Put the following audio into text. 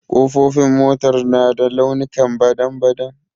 ƙofofin motar na da launikan badan-badan.